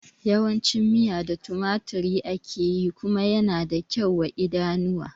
Yawan cin miya da tumaturi ake yi kuma yana da kyau wa idanu